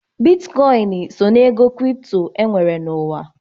Bitkọịn so n'ego kripto e nwere n'ụwa.